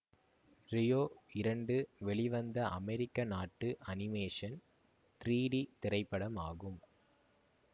Rio இரண்டு வெளிவந்த அமெரிக்க நாட்டு அனிமேஷன் த்ரீடி திரைப்படம் ஆகும்